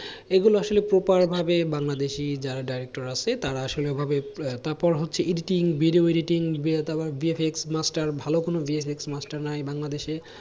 এগুলো আসলে proper ভাবে বাংলাদেশী যারা director আছে, তারা আসলে ওভাবে আহ তারপর হচ্ছে editing video editing তারপর VFX মাস্টার ভালো কোনো বিএফ এক্স মাস্টার নাই বাংলাদেশে